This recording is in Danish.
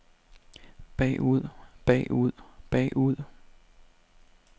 bagud bagud bagud